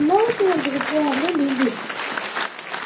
sale ਚ ਕਪੜੇ ਮੈਂ ਨਹੀਂ ਲੈਂਦੀ ਹੁੰਦੀ